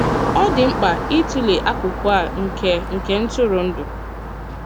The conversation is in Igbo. Ọ dị mkpa ịtụle akụkụ a nke nke ntụrụndụ.